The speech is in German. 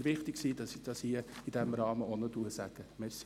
Es war mir wichtig, dies hier in diesem Rahmen auch noch zu sagen.